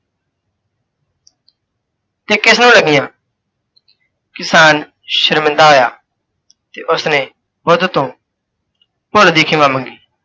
ਇਹ ਕਿਸ ਨੂੰ ਲੱਗੀਆਂ? ਕਿਸਾਣ ਸ਼ਰਮਿੰਦਾ ਹੋਇਆ, ਤੇ ਉਸਨੇ ਬੁੱਧ ਤੋਂ ਭੁੱਲ ਦੀ ਖਿਮਾ ਮੰਗੀ।